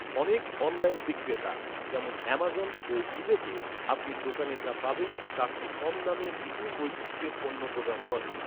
অনেক অনলাইন বিক্রেতা, যেমন আমাজন ও ইবেতে, আপনি দোকানে যা পাবেন, তার চেয়ে কম দামে বিপুল বৈচিত্র্যের পণ্য প্রদান করে৷